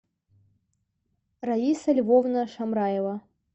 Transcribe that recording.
раиса львовна шамраева